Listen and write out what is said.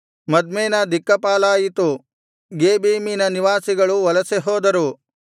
ಮದ್ಮೇನ ದಿಕ್ಕಾಪಾಲಾಯಿತು ಗೇಬೀಮಿನ ನಿವಾಸಿಗಳು ವಲಸೆ ಹೋದರು